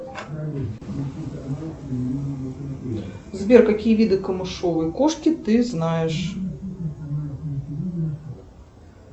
сбер какие виды камышовой кошки ты знаешь